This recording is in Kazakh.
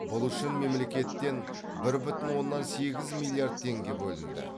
бұл үшін мемлекеттен бір бүтін оннан сегіз миллиард теңге бөлінді